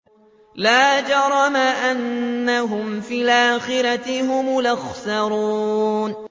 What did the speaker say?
لَا جَرَمَ أَنَّهُمْ فِي الْآخِرَةِ هُمُ الْأَخْسَرُونَ